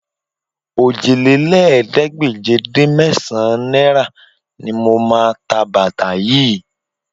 Òjìlélẹ́ẹ̀ẹ́dégbèje-dín-mẹ́sàn-án náírà ni mo máa ta bàtà yìí